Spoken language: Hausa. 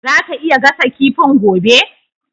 Zaka iya gasa kifin gobe?